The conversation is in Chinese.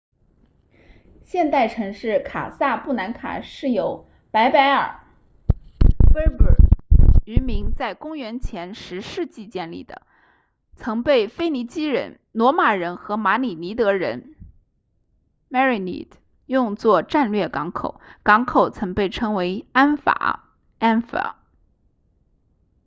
现代城市卡萨布兰卡是由柏柏尔 berber 渔民在公元前10世纪建立的曾被腓尼基人罗马人和马里尼德人 merenid 用作战略港口港口曾被称为安法 anfa